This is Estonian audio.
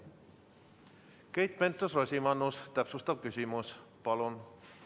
Keit Pentus-Rosimannus, täpsustav küsimus, palun!